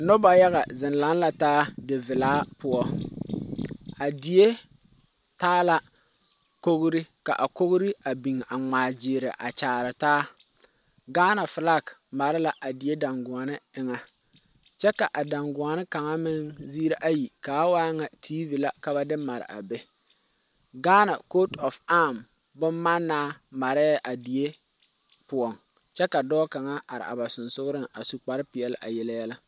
Noba yaga zeŋ laŋ la taa divelaa poɔ a die taa la kogri ka kogri ka a ŋmaa gyiiri a kyaare taa Ghana filaki mare la a die daŋguoni eŋa kyɛ ka a daŋguoni kaŋa meŋ ziiri ayi ka o waa ŋa tiivi la ka ba de mare a be Ghana kootu aam bommanaa marɛɛ a die poɔ kyɛ ka dɔɔ kaŋa are a ba sensɔgreŋ a su kpare pelaa a yele yɛlɛ.